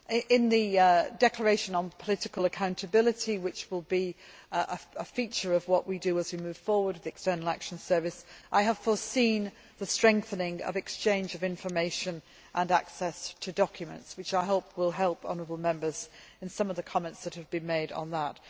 In the declaration on political accountability, which will be a feature of what we do as we move forward with the External Action Service, I have foreseen the strengthening of exchange of information and access to documents, which I hope will help honourable Members in some of the comments that have been made on that.